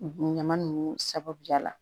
Ɲama ninnu sababuya la